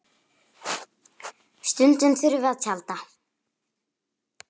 Stundum þurftum við að tjalda.